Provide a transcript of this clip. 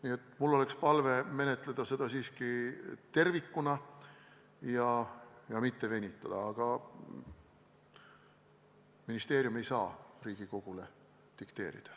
Nii et mul oleks palve menetleda seda siiski tervikuna ja mitte venitada, ehkki ministeerium ei saa Riigikogule midagi ette dikteerida.